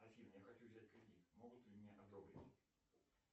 афина я хочу взять кредит могут ли мне одобрить